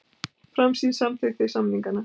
Framsýn samþykkti samninga